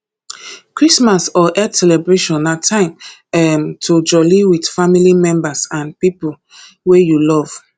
christmas or eid celebration na time um to joli with family members and pipo wey you love